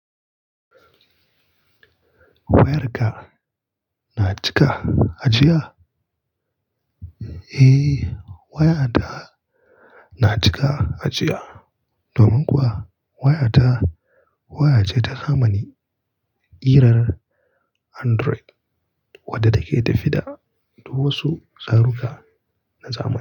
Wayarka na cika ajiya? Eh, waya ta na cika ajiya. Domin kuwa waya ta waya ce ta zamani kirar Android wadda take tafida da duk wasu tsaruka na zamani.